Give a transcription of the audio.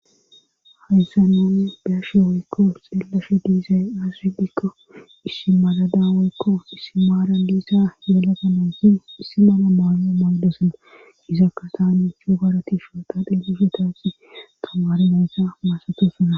hayssa nani beashe woykko xeellashe diizay azsipikko issimaradaweykko issi maara liissa yeelagamonsin issi mana malmo magdosana izakka taani chugarati shooqadhillushetaasi tamarineyssa maasatosana